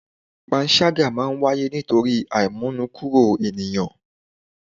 Panṣágà máa ń wáyé nítorí àímónúkúro ènìyàn